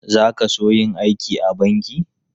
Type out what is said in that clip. Za ka so yin aiki a banki?